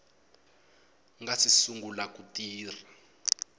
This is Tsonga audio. nga si sungula ku tirha